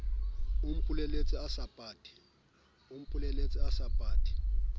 o mpolelletse o sa pate